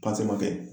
kɛ